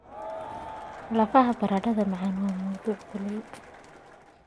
Lafaha baradhada macaan waa mawduuc kulul.